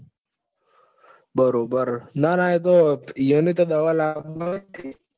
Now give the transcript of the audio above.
બરોબર ના ના એમને તો દવા લાવવાની